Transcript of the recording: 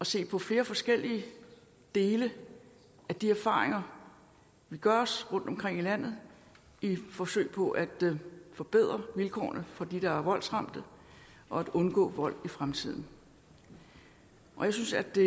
se på flere forskellige dele af de erfaringer der gøres rundtomkring i landet i et forsøg på at forbedre vilkårene for dem der er voldsramte og at undgå vold i fremtiden jeg synes at det